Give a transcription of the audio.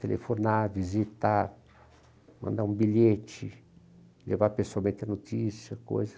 Telefonar, visitar, mandar um bilhete, levar pessoalmente a notícia, coisa.